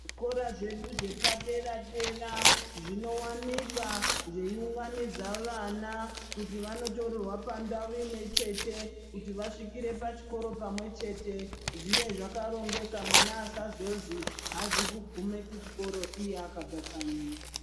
Zvikora zvedu zvepadera dera zvinowanika zveiunganidza vana kuti vandotorerwa pandau imwechete kuti vasvikire pachikora pamwechete zvive zvakarongeka mwana asazozwi aazi kugume kuchikoro iye akabva kanyi.